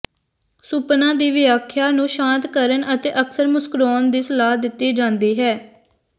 ਸੁਪਨਾ ਦੀ ਵਿਆਖਿਆ ਨੂੰ ਸ਼ਾਂਤ ਕਰਨ ਅਤੇ ਅਕਸਰ ਮੁਸਕਰਾਉਣ ਦੀ ਸਲਾਹ ਦਿੱਤੀ ਜਾਂਦੀ ਹੈ